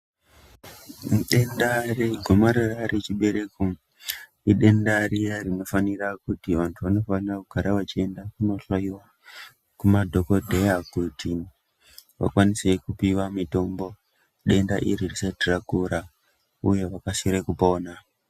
Denda regomarara rechibereko, idenda riya rinofanira kuti vanthu vanofanira kugara vachienda kunohloiwa kumadhokodheya kuti vakwanise kupuwa mitombo denda iri risati rakura uye kukasire kupona.